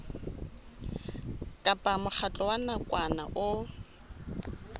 kapa mokgatlo wa nakwana o